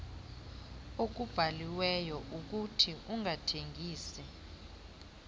okubhaliweyo ukuthi ungathengisi